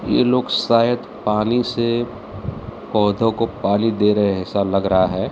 ये लोग शायद पानी से पौधों को पानी दे रहे हैं ऐसा लग रहा है।